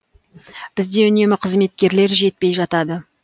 бізде үнемі қызметкерлер жетпей жатады